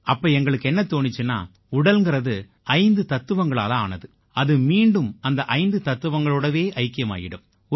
அப்ப எங்களுக்கு என்ன தோணிச்சுன்னா உடல்ங்கறது ஐந்து தத்துவங்களால ஆனது அது மீண்டும் அந்த ஐந்து தத்துவங்களோடவே ஐக்கியமாயிடும்